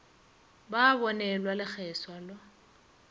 ba a bonelwa lekgeswa la